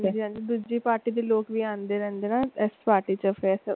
ਹਾਂਜੀ ਹਾਂਜੀ ਦੂਜੀ ਪਾਰਟੀ ਦੇ ਲੋਕ ਵੀ ਆਂਦੇ ਰਹਿੰਦੇ ਨੇ ਨਾ ਇਸ ਪਾਰਟੀ ਚ ਫਿਰ।